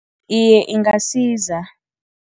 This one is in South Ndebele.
Iye, ingasiza.